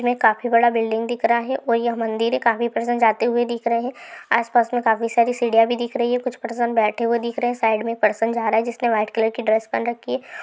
हमे काफी बड़ा बिल्डिंग दिख रहा है | और ये मंदिर है काफी प्रसंग आते हुए दिख रहे है | आस पास में काफी सारी सीढ़िया भी दिख है | कुछ प्रसंग बैठे हुए दिख रहे है साइड में एक प्रसंग जा रहा है जिसने वाइट कलर की ड्रेस पहन रखी है --